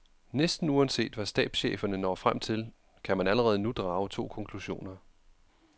Næsten uanset hvad stabscheferne når frem til, kan man allerede nu drage to konklusioner.